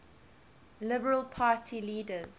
liberal party leader